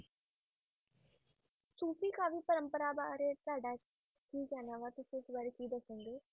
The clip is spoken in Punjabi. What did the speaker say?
ਸੂਫ਼ੀ ਕਾਵਿ ਪਰੰਪਰਾ ਬਾਰੇ ਤੁਹਾਡਾ ਕੀ ਕਹਿਣਾ ਵਾਂ, ਤੁਸੀਂ ਇਸ ਬਾਰੇ ਕੀ ਦੱਸ ਸਕਦੇ ਹੋ?